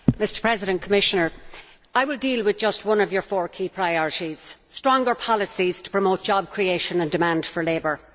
Mr President, Commissioner, I will deal with just one of your four key priorities stronger policies to promote job creation and demand for labour.